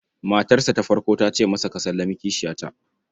Matarsa ta farko ta ce masa, "Ka sallami kishiyata".